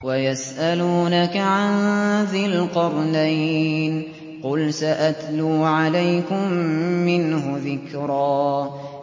وَيَسْأَلُونَكَ عَن ذِي الْقَرْنَيْنِ ۖ قُلْ سَأَتْلُو عَلَيْكُم مِّنْهُ ذِكْرًا